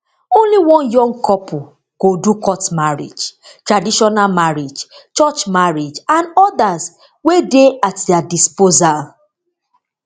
only one young couple go do court marriage traditional marriage church marriage and odas wey dey at dia disposal